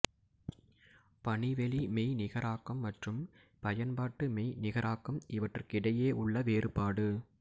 பணிவெளி மெய்நிகராக்கம் மற்றும் பயன்பாட்டு மெய்நிகராக்கம் இவற்றுக்கிடையே உள்ள வேறுபாடு